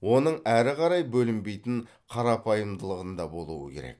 оның әрі қарай бөлінбейтін қарапайымдылығында болуы керек